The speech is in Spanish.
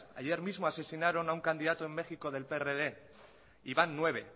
ayer mismo asesinaron a un candidato en méxico del prd y van nueve